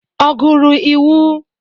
Ọ gụrụ iwu?